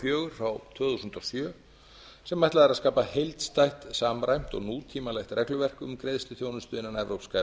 fjögur tvö þúsund og sjö sem ætlað er að skapa heildstætt samræmt og nútímalegt regluverk um greiðsluþjónustu innan evrópska